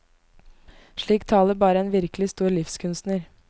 Slik taler bare en virkelig stor livskunstner.